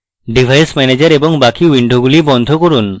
device manager এবং বাকি উইন্ডোগুলি বন্ধ করুন